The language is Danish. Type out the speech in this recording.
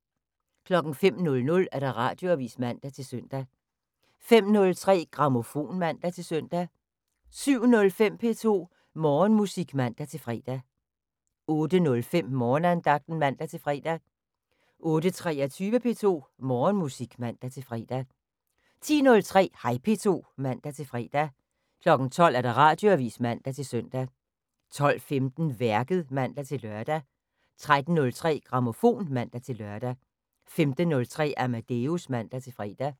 05:00: Radioavis (man-søn) 05:03: Grammofon (man-søn) 07:05: P2 Morgenmusik (man-fre) 08:05: Morgenandagten (man-fre) 08:23: P2 Morgenmusik (man-fre) 10:03: Hej P2 (man-fre) 12:00: Radioavis (man-søn) 12:15: Værket (man-lør) 13:03: Grammofon (man-lør) 15:03: Amadeus (man-fre)